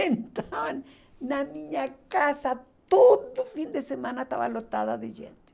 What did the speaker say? Então, na minha casa, todo fim de semana estava lotada de gente.